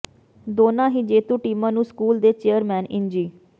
ਦੋਨ੍ਹਾਂ ਹੀ ਜੇਤੂ ਟੀਮਾਂ ਨੂੰ ਸਕੂਲ ਦੇ ਚੇਅਰਮੈਨ ਇੰਜੀ